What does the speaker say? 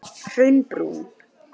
Hraunbrún